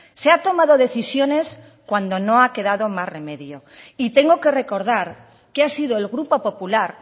se ha tomado decisiones cuando no ha quedado más remedio y tengo que recordar que ha sido el grupo popular